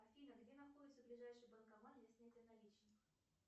афина где находится ближайший банкомат для снятия наличных